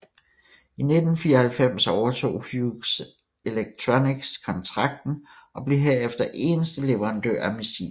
I 1994 overtog Hughes Electronics kontrakten og blev herefter eneste leverandør af missilet